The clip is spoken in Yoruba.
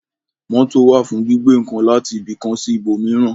Mótò wà fún gbígbé ǹkan láti ibi kan sí ibò míràn